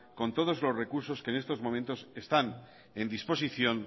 con todos los recursos que en estos momentos están en disposición